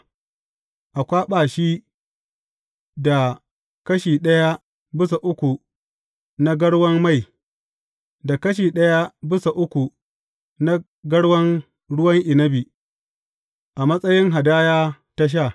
A kwaɓa shi da kashi ɗaya bisa uku na garwan mai, da kashi ɗaya bisa uku na garwan ruwan inabi, a matsayin hadaya ta sha.